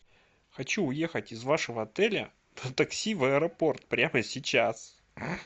хочу уехать из вашего отеля на такси в аэропорт прямо сейчас